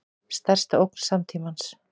Stærsta ógn samtímans